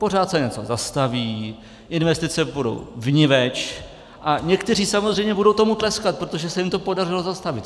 Pořád se něco zastaví, investice půjdou vniveč a někteří samozřejmě budou tomu tleskat, protože se jim to podařilo zastavit.